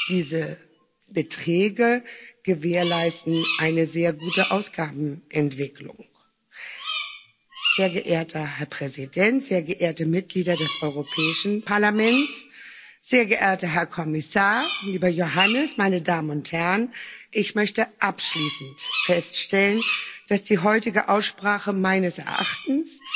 Diese Beträge gewährleisten eine sehr gute Ausgabenentwicklung. Sehr geehrter Herr Präsident, sehr geehrte Mitglieder des Europäischen Parlaments, sehr geehrter Herr Kommissar, lieber Johannes, meine Damen und Herren, ich möchte abschließend feststellen, dass die heutige Aussprache meines Erachtens